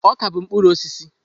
Ọka bụ mkpụrụ osisi.